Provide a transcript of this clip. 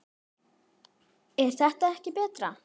er þetta ekki betra?